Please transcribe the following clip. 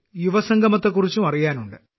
യുവസംഗമത്തെക്കുറിച്ചും അറിയാനുണ്ട്